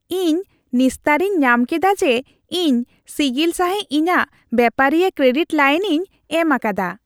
ᱤᱧ ᱱᱤᱥᱛᱟᱹᱨᱤᱧ ᱧᱟᱢ ᱠᱮᱫᱟ ᱡᱮ ᱤᱧ ᱥᱤᱜᱤᱞ ᱥᱟᱹᱦᱤᱡ ᱤᱧᱟᱹᱜ ᱵᱮᱯᱟᱨᱤᱭᱟᱹ ᱠᱨᱮᱰᱤᱴ ᱞᱟᱹᱭᱤᱱᱤᱧ ᱮᱢ ᱟᱠᱟᱫᱟ ᱾